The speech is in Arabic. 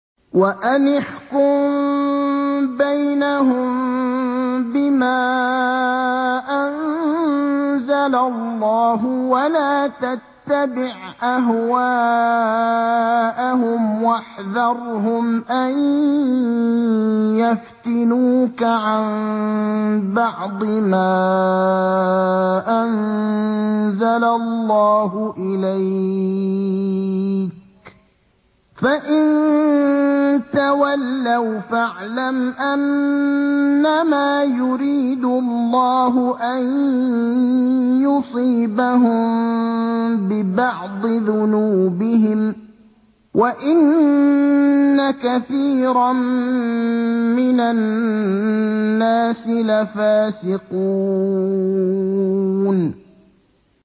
وَأَنِ احْكُم بَيْنَهُم بِمَا أَنزَلَ اللَّهُ وَلَا تَتَّبِعْ أَهْوَاءَهُمْ وَاحْذَرْهُمْ أَن يَفْتِنُوكَ عَن بَعْضِ مَا أَنزَلَ اللَّهُ إِلَيْكَ ۖ فَإِن تَوَلَّوْا فَاعْلَمْ أَنَّمَا يُرِيدُ اللَّهُ أَن يُصِيبَهُم بِبَعْضِ ذُنُوبِهِمْ ۗ وَإِنَّ كَثِيرًا مِّنَ النَّاسِ لَفَاسِقُونَ